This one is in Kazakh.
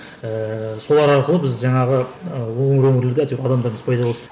ііі солар арқылы біз жаңағы ы өңір өңірде әйтеуір адамдарымыз пайда болды